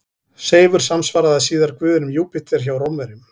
Seifur samsvaraði síðar guðinum Júpíter hjá Rómverjum.